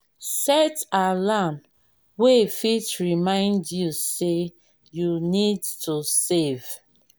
set alarm wey fit remind you sey you need to save